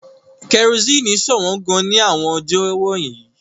Kerosene ṣọ̀wọ́n gan-an ní àwọn ọjọ́ wọ̀nyí.